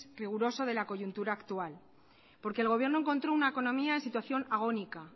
riguroso de la coyuntura actual porque el gobierno encontró una economía en situación agónica